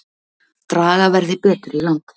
Draga verði betur í land